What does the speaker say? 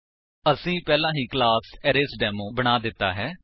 ਅਸੀਂ ਪਹਿਲਾਂ ਹੀ ਕਲਾਸ ਅਰੇਸਡੇਮੋ ਬਣਾ ਦਿੱਤਾ ਹੈ